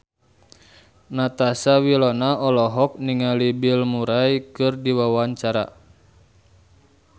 Natasha Wilona olohok ningali Bill Murray keur diwawancara